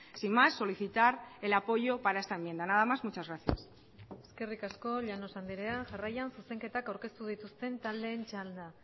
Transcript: sin más solicitar el apoyo para esta enmienda nada más muchas gracias eskerrik asko llanos andrea jarraian zuzenketak aurkeztu dituzten taldeen txanda